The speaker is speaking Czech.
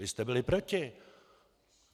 Vy jste byli proti.